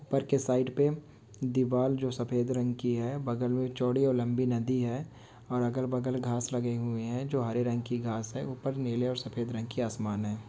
पर के साइड पर दीवार जो सफेद रंग की है बगल में चौड़ी और लंबी नदी है और अगर बगल घास लगे हुए है जो हरे रंग की घास है ऊपर नील और सफेद रंग की आसमान है।